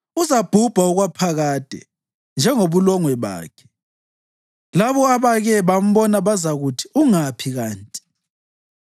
uzabhubha okwaphakade, njengobulongwe bakhe; labo abake bambona bazakuthi, ‘Ungaphi kanti?’